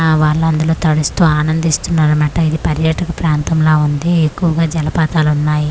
ఆ వాన లో అందులో తడుస్తూ ఆనందిస్తున్నారు అనమాట ఇది పర్యటకు ప్రాంతం లా ఉంది ఎక్కువుగా జలపాతాలు ఉన్నాయి.